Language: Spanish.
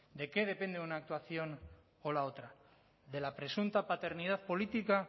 de qué depende una actuación o la otra de la presunta paternidad política